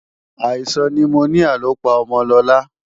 Àìsàn nimoníà ló pa ọmọ Lọlá